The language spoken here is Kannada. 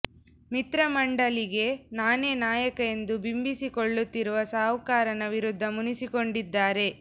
ಮಿತ್ರ ಮಂಡಳಿಗೆ ನಾನೇ ನಾಯಕ ಎಂದು ಬಿಂಬಿಸಿಕೊಳ್ಳುತ್ತಿರುವ ಸಾಹುಕಾರನ ವಿರುದ್ಧ ಮುನಿಸಿಕೊಂಡಿದ್ದಾರೆ